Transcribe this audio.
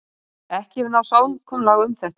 Ekki hefur náð samkomulag um þetta